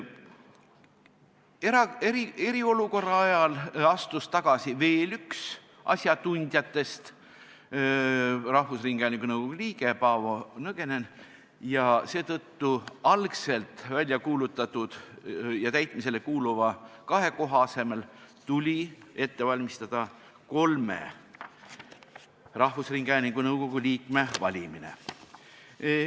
Eriolukorra ajal astus tagasi veel üks asjatundjatest, rahvusringhäälingu nõukogu liige Paavo Nõgene ning seetõttu tuli algselt välja kuulutatud kahe koha täitmise asemel ette valmistada kolme rahvusringhäälingu nõukogu liikme valimine.